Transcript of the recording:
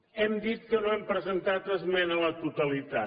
hem dit que no hem presentat esmena a la totalitat